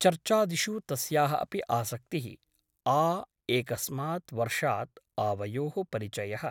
चर्चादिषु तस्याः अपि आसक्तिः । आ एकस्मात् वर्षात् आवयोः परिचयः ।